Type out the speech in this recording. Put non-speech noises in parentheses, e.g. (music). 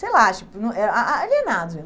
Sei lá, acho (unintelligible) ah alienados.